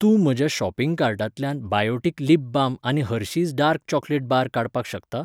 तूं म्हज्या शॉपिग कार्टांतल्यान बायोटीक लीप बाम आनी हर्शिज डार्क चॉकलेट बार काडपाक शकता?